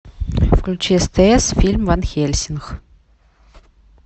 включи стс фильм ван хельсинг